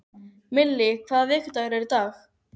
Millý, hvaða vikudagur er í dag?